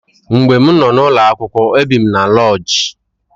Mgbe m nọ n'ụlọakwụkwọ ebi m n'loodji.